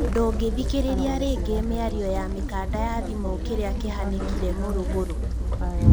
ndungĩthikĩrĩria rĩngĩ mĩario ya mĩkanda ya thimũ, kĩria kĩhanĩkire mũrugurũ?